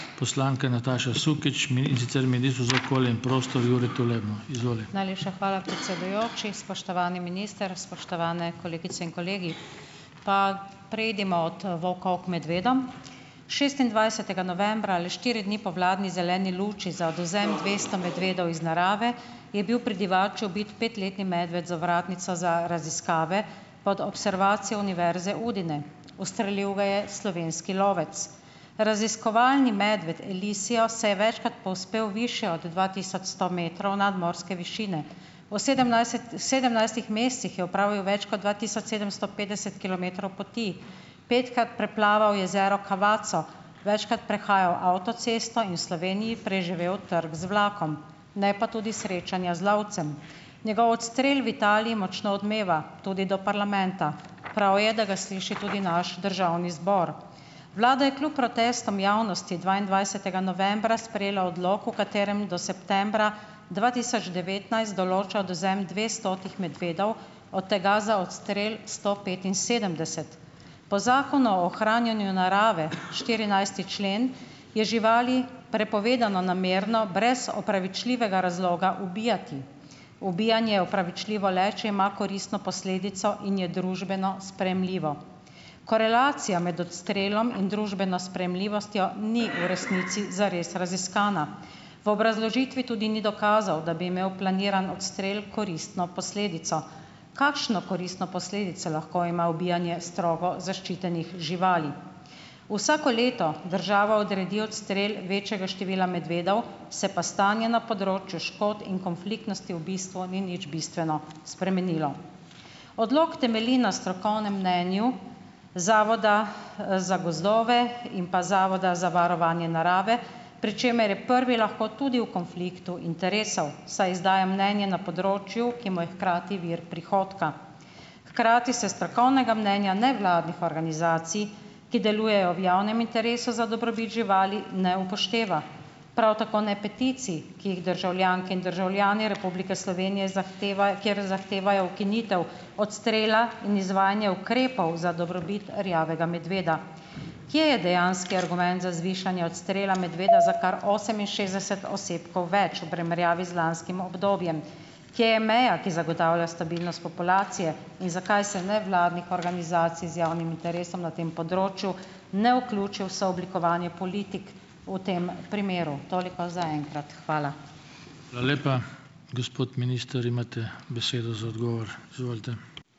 Najlepša hvala, predsedujoči. Spoštovani minister, spoštovane kolegice in kolegi. Pa preidimo od volkov k medvedom. Šestindvajsetega novembra ali štiri dni po vladni zeleni luči za odvzem dvesto medvedov iz narave je bil pri Divači ubit petletni medved z ovratnico za raziskave pod observacijo Univerze Udine. Ustrelil ga je slovenski lovec. Raziskovalni medved Elisio se je večkrat povzpel višje od dva tisoč sto metrov nadmorske višine. Ven sedemnajstih mesecih je opravil več kot dva tisoč sedemsto petdeset kilometrov poti. Petkrat preplaval jezero Cavazzo, večkrat prehajal avtocesto in v Sloveniji preživel trk z vlakom. Ne pa tudi srečanja z lovcem. Njegov odstrel v Italiji močno odmeva. Tudi do parlamenta. Prav je, da ga sliši tudi naš državni zbor. Vlada je kljub protestom javnosti dvaindvajsetega novembra sprejela odlok, v katerem do septembra dva tisoč devetnajst določa odvzem dvestotih medvedov, od tega za odstrel sto petinsedemdeset. Po Zakonu o ohranjanju narave, štirinajsti člen, je živali prepovedano namerno, brez opravičljivega razloga ubijati. Ubijanje je opravičljivo le, če ima koristno posledico in je družbeno sprejemljivo. Korelacija med odstrelom in družbeno sprejemljivostjo ni v resnici zares raziskana. V obrazložitvi tudi ni dokazov, da bi imel planiran odstrel koristno posledico. Kakšno koristno posledico lahko ima ubijanje strogo zaščitenih živali? Vsako leto država odredi odstrel večjega števila medvedov, se pa stanje na področju škod in konfliktnosti v bistvu ni nič bistveno spremenilo. Odlok temelji na strokovnem mnenju Zavoda, za gozdove in pa Zavoda za varovanje narave, pri čemer je prvi lahko tudi v konfliktu interesov, saj izdaja mnenje na področju, ki mu je hkrati vir prihodka. Hkrati se strokovnega mnenja nevladnih organizacij, ki delujejo v javnem interesu za dobrobit živali, ne upošteva. Prav tako ne peticij, ki jih državljanke in državljani Republike Slovenije zahtevajo, kjer zahtevajo ukinitev odstrela in izvajanja ukrepov za dobrobit rjavega medveda. Kje je dejanski argument za zvišanje odstrela medveda za kar oseminšestdeset osebkov več v primerjavi z lanskim obdobjem? Kje je meja, ki zagotavlja stabilnost populacije in zakaj se nevladnih organizacij z javnim interesom na tem področju, ne vključi v sooblikovanje politik v tem primeru? Toliko za enkrat, hvala.